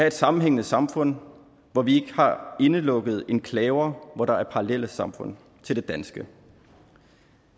et sammenhængende samfund hvor vi har indelukkede enklaver hvor der er parallelsamfund til det danske